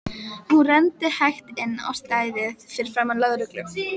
Hún renndi hægt inn á stæðið fyrir framan lögreglu